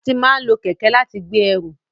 A ti máa n lo kẹkẹ láti gbé ẹrù.